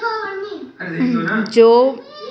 जो--